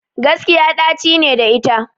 Gaskiya ɗaci ne da ita